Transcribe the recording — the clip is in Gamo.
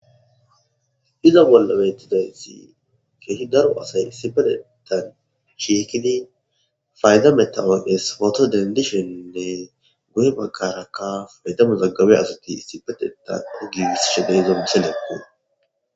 Iza bolla betizaysi keehi daro asay issippetetan shiiqidi fayda metawoqiyas poto dendishenne guye bagara eta Mazagabiya asati issipetetan gigisishe de'izo misileko.